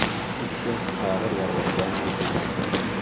Ikki kishi og‘ir yaralangani aytilmoqda.